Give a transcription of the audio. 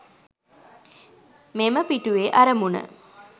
මෙම පිටුවේ අරමුණ